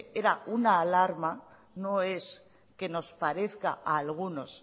era una alarma no es que nos parezca a algunos